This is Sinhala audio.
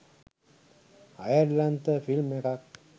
අයර්ලන්ත ෆිල්ම් එකක්